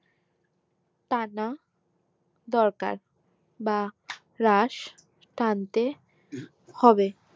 টানা দরকার বা রাশ টানতে হবে